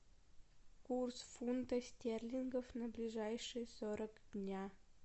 курс фунта стерлингов на ближайшие сорок дня